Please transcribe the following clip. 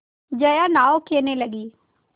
जया नाव खेने लगी